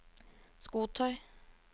skotøy